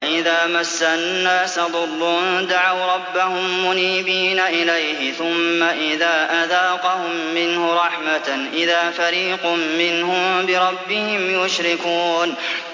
وَإِذَا مَسَّ النَّاسَ ضُرٌّ دَعَوْا رَبَّهُم مُّنِيبِينَ إِلَيْهِ ثُمَّ إِذَا أَذَاقَهُم مِّنْهُ رَحْمَةً إِذَا فَرِيقٌ مِّنْهُم بِرَبِّهِمْ يُشْرِكُونَ